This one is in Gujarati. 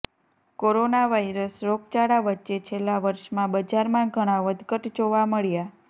કોરોના વાયરસ રોગચાળા વચ્ચે છેલ્લા વર્ષમાં બજારમાં ઘણા વધઘટ જોવા મળ્યા